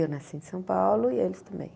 Eu nasci em São Paulo e eles também.